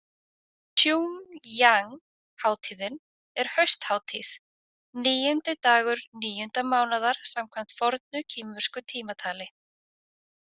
Tsjúngjang- hátíðin er hausthátíð, níundi dagur níunda mánaðar samkvæmt fornu kínversku tímatali.